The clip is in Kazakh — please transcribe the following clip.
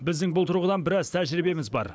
біздің бұл тұрғыдан біраз тәжірибеміз бар